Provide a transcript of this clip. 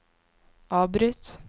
avbryt